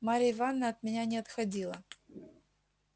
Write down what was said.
марья ивановна от меня не отходила